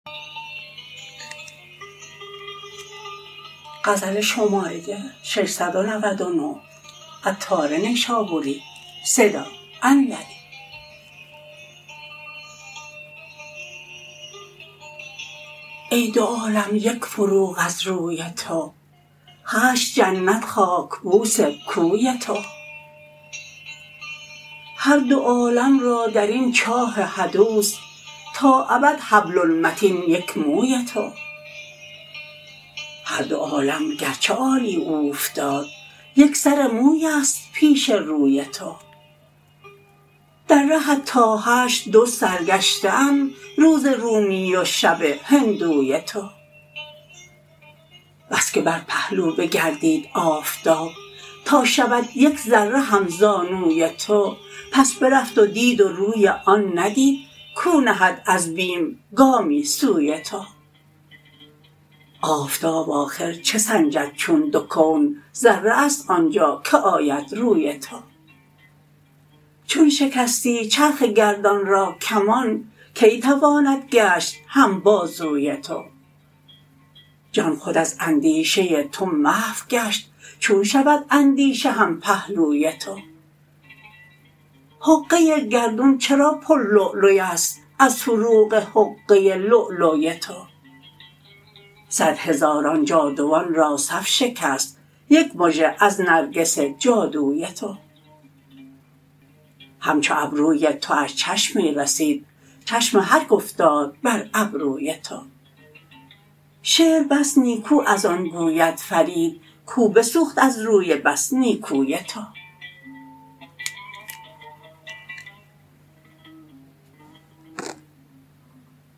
ای دو عالم یک فروغ از روی تو هشت جنت خاک بوس کوی تو هر دو عالم را درین چاه حدوث تا ابد حبل المتین یک موی تو هر دو عالم گرچه عالی اوفتاد یک سر موی است پیش روی تو در رهت تا حشر دو سرگشته اند روز رومی و شب هندوی تو بس که بر پهلو بگردید آفتاب تا شود یک ذره هم زانوی تو پس برفت و دید و روی آن ندید کو نهد از بیم گامی سوی تو آفتاب آخر چه سنجد چون دو کون ذره است آنجا که آید روی تو چون شکستی چرخ گردان را کمان کی تواند گشت هم بازوی تو جان خود از اندیشه تو محو گشت چون شود اندیشه هم پهلوی تو حقه گردون چرا پر لولوی است از فروغ حقه لولوی تو صد هزاران جادوان را صف شکست یک مژه از نرگس جادوی تو همچو ابروی تواش چشمی رسید چشم هر که افتاد بر ابروی تو شعر بس نیکو از آن گوید فرید کو بسوخت از روی بس نیکوی تو